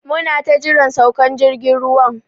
Muna ta jiran saukan jirgin ruwan.